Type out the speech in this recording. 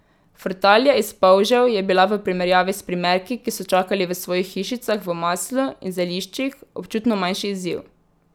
Frtalja iz polžev je bila v primerjavi s primerki, ki so čakali v svojih hišicah v maslu in zeliščih, občutno manjši izziv.